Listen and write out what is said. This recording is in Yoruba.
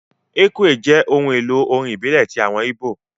Ekwe jẹ́ ohun èlò orin ìbílẹ̀ ti àwọn ìbó